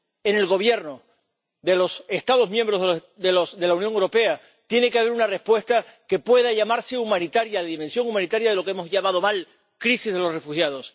En el Gobierno de los Estados miembros de la Unión Europea tiene que haber una respuesta que pueda llamarse humanitaria, de dimensión humanitaria, para lo que hemos llamado mal crisis de los refugiados.